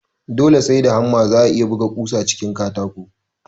Dole sai da hamma za'a iya buga ƙusa cikin fallen katako